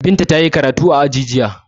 Binta ta yi karatu a aji jiya.